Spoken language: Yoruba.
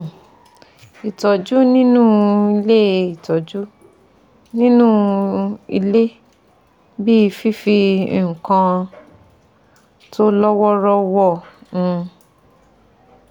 um Ìtọ́jú nínú ilé Ìtọ́jú nínú ilé bí i fifi nǹkan tó lọ́ wọ́ọ́rọ́ wọ um